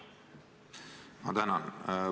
Ma tänan!